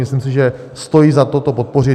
Myslím si, že stojí za to to podpořit.